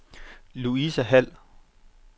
Louise Hald